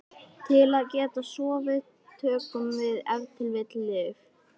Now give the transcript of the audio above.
Til að geta sofið tökum við ef til vill lyf.